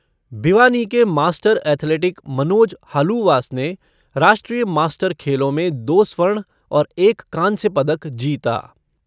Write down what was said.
भिवानी के master athletic Manoj Haluwas ने राष्ट्रीय मास्टर खेलों में दो स्वर्ण और एक कांस्य पदक जीता।